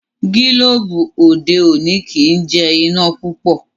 Gilobu òde òni kí jé iná púpọ.